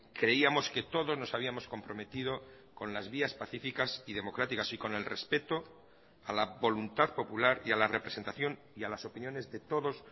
creíamos que todos nos habíamos comprometido con las vías pacíficas y democráticas y con el respeto a la voluntad popular y a la representación y a las opiniones de todos